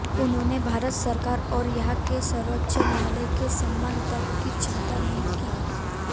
उन्होंने भारत सरकार और यहां के सर्वोच्च न्यायालय के सम्मान तक की चिंता नहीं की